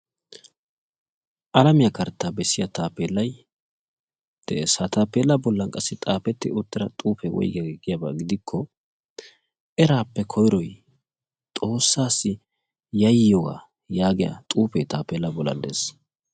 Alamiyaa karttaa bessiyaa taappelay de'ees. ha taappellan qassi xaafetti uttida xuufee woygiyaage giikko "eraappe koyroy xoossaassi yaayiyoogaa" yaagiyaagee taappellaa bollan dees.